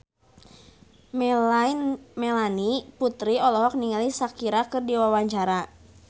Melanie Putri olohok ningali Shakira keur diwawancara